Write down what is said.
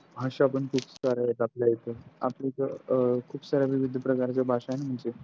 भाषा पण पुष्कळ आहेत आपल्या इथं आपल्याकड खूप साऱ्या वीविध प्रकारच्या भाषा आहे ना म्हणजे